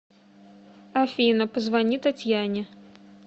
афина позвони татьяне